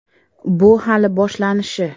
Bu hali boshlanishi”.